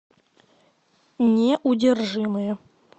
неудержимые